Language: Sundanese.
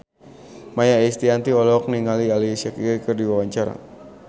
Maia Estianty olohok ningali Alicia Keys keur diwawancara